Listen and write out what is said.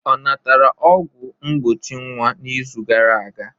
Ọ natara ọgwụ mgbochi nwa n'izu gara aga?